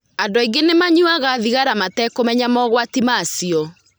Andũ aingĩ nĩ manyuaga thigara matekũmenya mogwati ma cio.